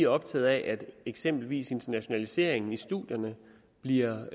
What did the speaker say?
optaget af at eksempelvis internationaliseringen i studierne bliver